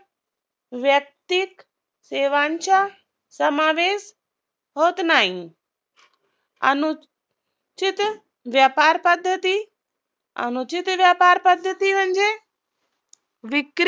व्यक्तीत सेवांच्या समावेश होत नाही अनु चित व्यापार पद्धती अनुचित व्यापार पद्धती म्हणजे